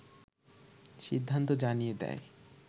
সিদ্ধান্ত জানিয়ে দেয়